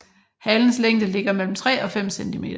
Halens længde ligger mellem 3 og 5 centimeter